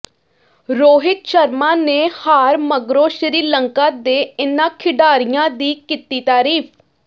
ਰੋਹਿਤ ਸ਼ਰਮਾ ਨੇ ਹਾਰ ਮਗਰੋਂ ਸ਼੍ਰੀਲੰਕਾ ਦੇ ਇਨ੍ਹਾਂ ਖਿਡਾਰੀਆਂ ਦੀ ਕੀਤੀ ਤਾਰੀਫ